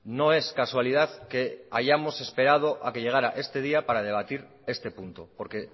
no es casualidad que hayamos esperado a que llegara este día para debatir este punto porque